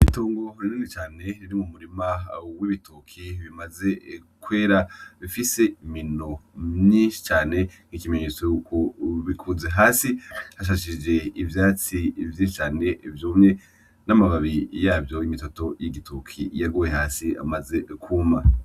Itongo rinini cane riri mu murima w 'ibitoke bimaze kwera, bifise imino myinshi cane n'ikimenyetso yuko bikuze. Hasi hashajije ivyatsi vyinshi cane vyumye, n'amababi yavyo y'igitoke yaguye hasi amaze kwuma.